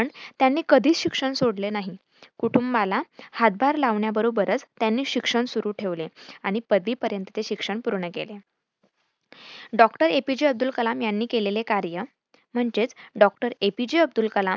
पण त्यांनी कधीच शिक्षण सोडले नाही. कुटूंबाला हातभार लावण्याबरोबरच त्यांनी शिक्षण सुरु ठेवले. आणि पदवी पर्यंत ते शिक्षण पूर्ण केले. Dr. A. P. J. Abdul Kalam यांनी केलेले कार्य म्हणजेच Dr. A. P. J. Abdul Kalam